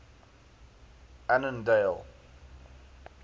annandale